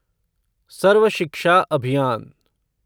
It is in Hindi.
सर्व शिक्षा अभियान